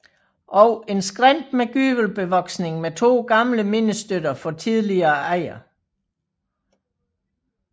Og en skrænt med gyvelbevoksning med to gamle mindestøtter for tidligere ejere